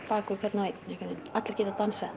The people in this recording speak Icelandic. bak við hvern og einn allir geta dansað